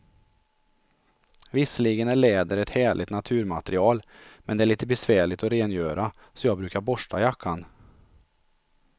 Visserligen är läder ett härligt naturmaterial, men det är lite besvärligt att rengöra, så jag brukar borsta jackan.